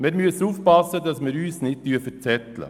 Wir müssen nun aufpassen, dass wir uns nicht verzetteln.